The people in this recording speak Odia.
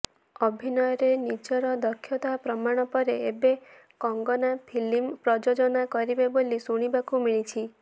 ଅଭିନୟରେ ନିଜର ଦକ୍ଷତା ପ୍ରମାଣ ପରେ ଏବେ କଙ୍ଗନା ଫିଲ୍ମ ପ୍ରଯୋଜନା କରିବେ ବୋଲି ଶୁଣିବାକୁ ମିଳିଛି